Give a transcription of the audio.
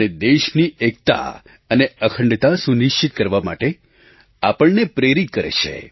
અને દેશની એકતા અને અખંડતા સુનિશ્ચિત કરવા માટે આપણને પ્રેરિત કરે છે